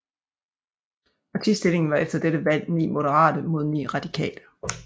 Partistillingen var efter dette valg 9 moderate mod 9 radikale